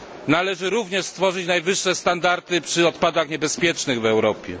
Należy również stworzyć najwyższe standardy przy odpadach niebezpiecznych w Europie.